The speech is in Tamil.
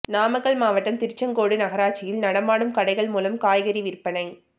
நாமக்கல் மாவட்டம் திருச்செங்கோடு நகராட்சியில் நடமாடும் கடைகள் மூலம் காய்கறி விற்பனை